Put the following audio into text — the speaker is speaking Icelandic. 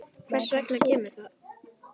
Hvers vegna kemur það?